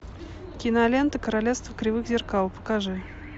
кинолента королевство кривых зеркал покажи